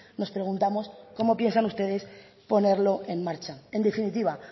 nos preguntamos cómo piensan ustedes ponerlo en marcha en definitiva